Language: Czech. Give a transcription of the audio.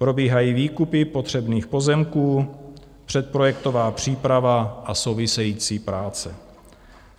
Probíhají výkupy potřebných pozemků, předprojektová příprava a související práce.